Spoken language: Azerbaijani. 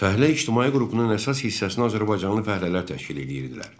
Fəhlə ictimai qrupunun əsas hissəsini azərbaycanlı fəhlələr təşkil edirdilər.